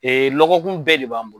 Ee lɔgɔkun bɛɛ de b'an bolo.